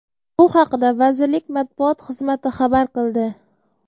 Bu haqida vazirlik matbuot xizmati xabar qildi.